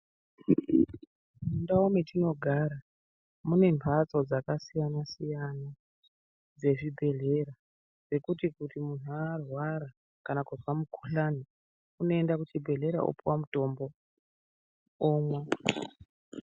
Mundawo metinogara munembatso dzakasiyana siyana, dzezvibhedlera dzekuti kuti munhu arwara kana kubva mukhuhlane unoyenda kuchibhedhlera opiwa mutombo omwa.